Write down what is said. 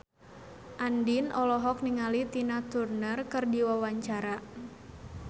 Andien olohok ningali Tina Turner keur diwawancara